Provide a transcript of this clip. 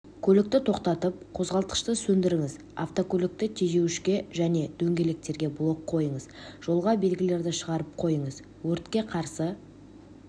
көлікті тоқтатып қозғалтқышты сөндіріңіз автокөлікті тежеуішке және дөңгелектерге блок қойыңыз жолға белгілерді шығарып қойыңыз өртке қарсы